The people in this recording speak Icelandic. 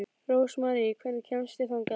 Rósmarý, hvernig kemst ég þangað?